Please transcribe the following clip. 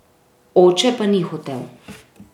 Oče pa ni hotel.